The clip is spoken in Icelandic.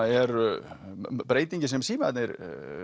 eru breytingin sem símarnir